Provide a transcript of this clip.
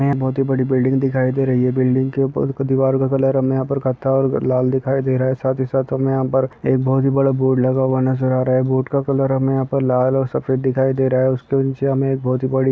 यहाँ बहुत ही बड़ी बिल्डिंग दिखाई दे रही है बिल्डिंग के ऊपर के दिवार का कलर हमें यहाँ पर कत्था और लाल दिखाई दे रहा है साथ हे साथ हमें यहाँ पर एक बहुत ही बड़ा बोर्ड लगा हुआ नज़र आ रहा है बोर्ड का कलर हमें लाल और सफ़ेद दिखाई दे रहा है उसके निचे हमें एक बहुत ही